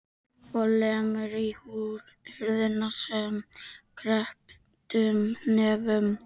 Og lemur í hurðina með krepptum hnefum.